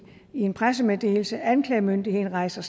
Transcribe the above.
en pressemeddelelse at anklagemyndigheden rejser